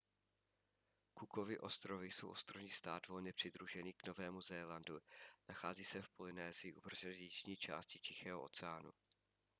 cookovy ostrovy jsou ostrovní stát volně přidružený k novému zélandu nachází se v polynésii uprostřed jižní části tichého oceánu